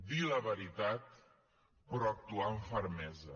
dir la veritat però actuar amb fermesa